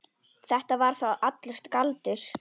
Þetta var þá allur galdur.